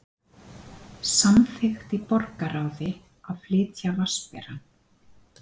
Samþykkt í borgarráði að flytja Vatnsberann